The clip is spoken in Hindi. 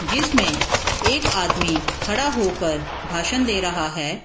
जिसमें एक आदमी खड़ा होकर भाषण दे रहा है ।